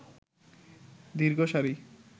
দীর্ঘ সারি